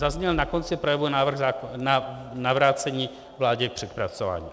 Zazněl na konci projevu návrh na navrácení vládě k přepracování.